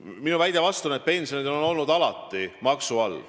Minu väide vastu on, et pensionid on olnud alati maksu all.